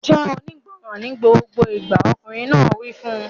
Jẹ́ onígbọràn ní gbogbo ìgbà! Ọkùnrin náà wí fún un.